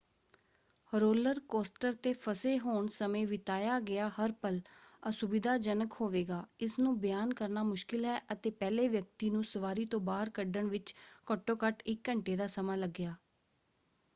Roller coaster 'ਤੇ ਫਸੇ ਹੋਣ ਸਮੇਂ ਬਿਤਾਇਆ ਗਿਆ ਹਰ ਪਲ ਅਸੁਵਿਧਾਜਨਕ ਹੋਵੇਗਾ ਇਸਨੂੰ ਬਿਆਨ ਕਰਨਾ ਮੁਸ਼ਕਿਲ ਹੈ ਅਤੇ ਪਹਿਲੇ ਵਿਅਕਤੀ ਨੂੰ ਸਵਾਰੀ ਤੋਂ ਬਾਹਰ ਕੱਢਣ ਵਿੱਚ ਘੱਟੋ ਘੱਟ ਇੱਕ ਘੰਟੇ ਦਾ ਸਮਾਂ ਲੱਗਿਆ।